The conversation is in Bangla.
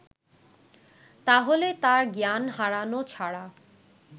তাহলে তাঁর জ্ঞান হারানো ছাড়া